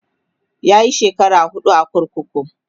yayi shekara huɗu kurkuku